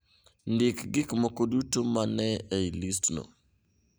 Ndik gik moko duto ma ne ni e listno